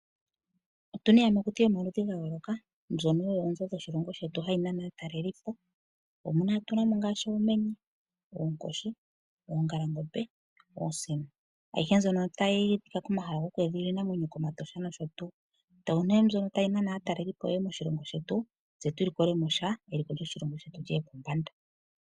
Otu na iiyamakuti yomaludhi ga yooloka mbyono oyo oonzo dhoshilongo shetu hayi nana aatalelipo. Otu na mo ngaashi oomenye, oonkoshi, oongalangombe noosino, ayihe mbyono otayi adhika komahala gokweedhilila iinamwenyo kOmatosha nosho tuu. Oyo ne mbyono tayi nana aatalelipo moshilongo shetu tse tu likole mo sha eliko lyomoshilongo shetu li ye pombanda.